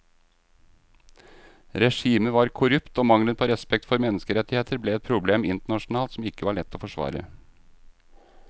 Regimet var korrupt og mangelen på respekt for menneskerettigheter ble et problem internasjonalt som ikke var lett å forsvare.